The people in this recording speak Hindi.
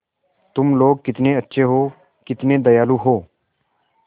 तुम लोग कितने अच्छे हो कितने दयालु हो